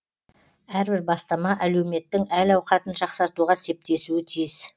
әрбір бастама әлеуметтің әл ауқатын жақсартуға септесуі тиіс